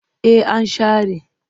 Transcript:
Eh an share.